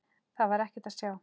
Þar var ekkert að sjá.